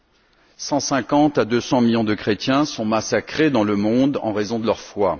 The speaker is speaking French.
De 150 à 200 millions de chrétiens sont massacrés dans le monde en raison de leur foi.